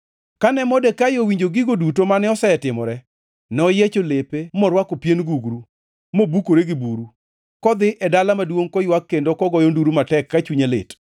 Kane Modekai owinjo gigo duto mane osetimore, noyiecho lepe morwako pien gugru mobukore gi buru, kodhi e dala maduongʼ koywak kendo kogoyo nduru matek ka chunye lit.